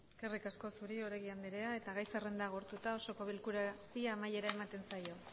eskerrik asko zuri oregi andrea eta gai zerrenda agortuta osoko bilkurari amaiera ematen zaio